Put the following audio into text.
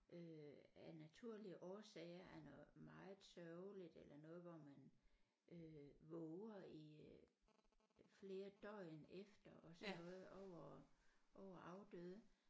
Øh af naturlige årsager er noget meget sørgeligt eller noget hvor man øh våger i øh flere døgn efter og sådan noget over over afdøde